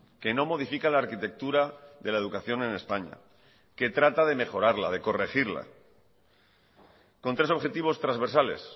que no modifica la arquitectura de la educación en españa que trata de mejorarla de corregirla con tres objetivos transversales